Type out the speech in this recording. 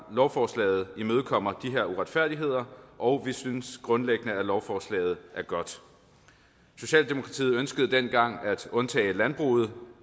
lovforslaget imødekommer de her uretfærdigheder og vi synes grundlæggende at lovforslaget er godt socialdemokratiet ønskede dengang at undtage landbruget